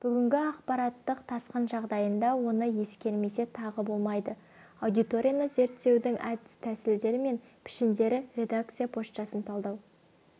бүгінгі ақпараттық тасқын жағдайында оны ескермесе тағы болмайды аудиторияны зерттеудің әдіс-тәсілдері мен пішіндері редакция поштасын талдау